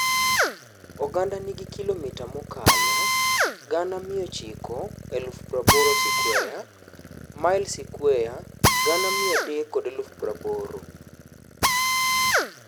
Ogandano nigi kilomita mokalo 980,000 skweya (mail skweya 380,000).